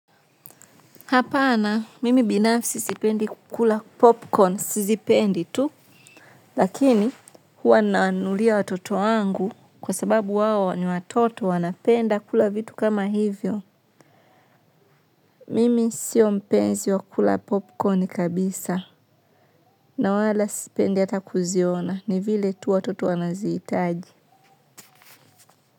Hapana, mimi binafsi sipendi kukula popcorn, sizipendi tu, lakini huwa nanulia watoto wangu kwa sababu wao ni watoto wanapenda kula vitu kama hivyo. Mimi sio mpenzi wa kukula popcorn kabisa, na wala sipendi hata kuziona, ni vile tu watoto wanazihitaji.